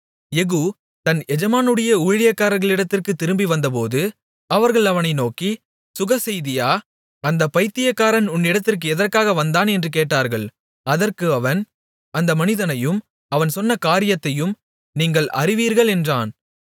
யெகூ தன் எஜமானுடைய ஊழியக்காரர்களிடத்திற்குத் திரும்பிவந்தபோது அவர்கள் அவனை நோக்கி சுகசெய்தியா அந்தப் பயித்தியக்காரன் உன்னிடத்திற்கு எதற்காக வந்தான் என்று கேட்டார்கள் அதற்கு அவன் அந்த மனிதனையும் அவன் சொன்ன காரியத்தையும் நீங்கள் அறிவீர்கள் என்றான்